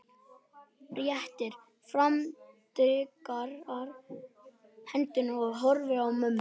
Réttir fram digrar hendurnar og horfir á mömmu.